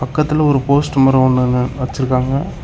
பக்கத்துல ஒரு போஸ்ட் மரோ ஒன்னு ன்னு வெச்சிருக்காங்க.